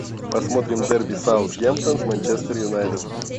посмотрим дерби саутгемптон с манчестер юнайтед